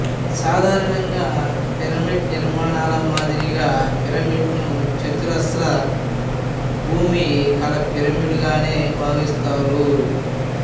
సాధారణంగా పిరమిడ్ నిర్మాణాల మాదిరిగా పిరమిడ్ ను చతురస్ర భూమి కల పిరమిడ్ గానే భావిస్తారు